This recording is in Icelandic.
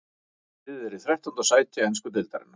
Liðið er í þrettánda sæti ensku deildarinnar.